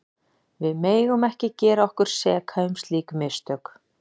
Við megum ekki gera okkur seka um slík mistök.